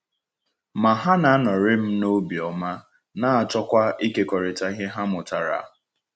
Ma ha na-anọrị m n’obiọma, na-achọkwa ịkekọrịta ihe ha mụtara.